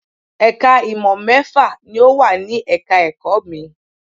Ẹ̀ka ìmọ̀ mẹ́fà ni ò wà ní ẹ̀ka ẹ̀kọ́ mi